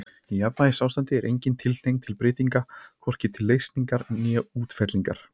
Í jafnvægisástandi er engin tilhneiging til breytinga, hvorki til leysingar né útfellingar.